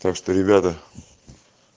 так что ребята